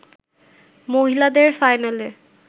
মহিলাদের ফাইনালে